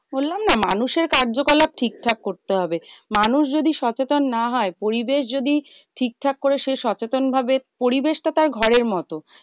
বললাম না, মানুষের কার্য কলাপ ঠিক ঠাক করতে হবে। মানুষ যদি সচেতন না হয় পরিবেশ যদি ঠিকঠাক করে সে সচেতন ভাবে পরিবেশটা তার ঘরের মতো।